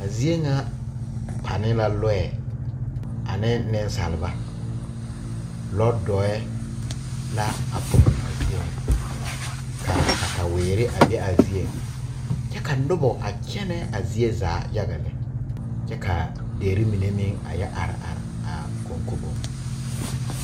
A zeɛ nga pa ne la lɔɛ ane ninsaaliba lɔɛ dɔri la a puri a zeɛ nga kaa katawiiri a be a zeɛ kye ka nuba a kyene a zeɛ zaa yaga yaga le kye ka deri mene meng a ye arẽ arẽ a kɔnkobong.